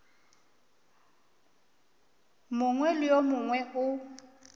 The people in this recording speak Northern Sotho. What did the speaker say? mongwe le yo mongwe o